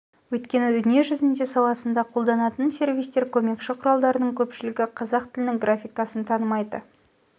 өйткені дүние жүзінде саласында қолданатын сервистер көмекші құралдардың көпшілігі қазақ тілінің графикасын танымайды